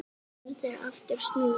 Ekki verður aftur snúið.